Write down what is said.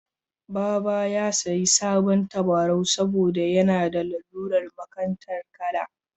Baba ya sayi sabon tabarau saboda yana da lalurar makantar kala.